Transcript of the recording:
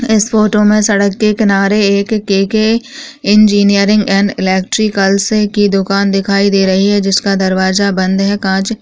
इस फोटो में सड़क के किनारे एक के.के इंजनियरिंग एंड इलेट्रिकल की दुकान दिखाई दे रही है जीका दरवाजा बंद है कांच--